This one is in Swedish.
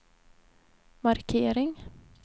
markering